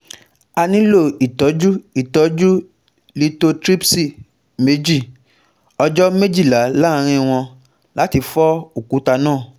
A nilo itọju itọju lithotripsy meji ọjọ mejila laaarin wọn lati fọ okuta naa